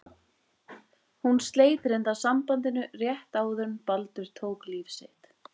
Hún sleit reyndar sambandinu rétt áður en Baldur tók líf sitt.